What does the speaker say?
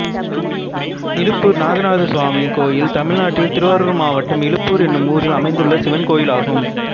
இலுப்பூர் நாகநாதசுவாமி கோயில் தமிழ்நாட்டில் திருவாரூர் மாவட்டம் இலுப்பூர் என்னும் ஊரில் அமைந்துள்ள சிவன் கோயிலாகும்